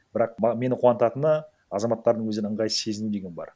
бірақ мені қуантатыны азаматтардың өзін ыңғайсыз сезіну деген бар